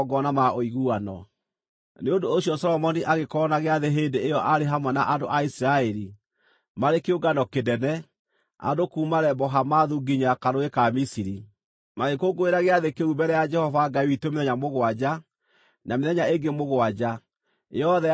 Nĩ ũndũ ũcio Solomoni agĩkorwo na gĩathĩ hĩndĩ ĩyo arĩ hamwe na andũ a Isiraeli, maarĩ kĩũngano kĩnene, andũ kuuma Lebo-Hamathu nginya Karũũĩ ka Misiri. Magĩkũngũĩra gĩathĩ kĩu mbere ya Jehova Ngai witũ mĩthenya mũgwanja, na mĩthenya ĩngĩ mũgwanja, yothe yarĩ mĩthenya ikũmi na ĩna.